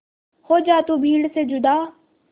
हो जा तू भीड़ से जुदा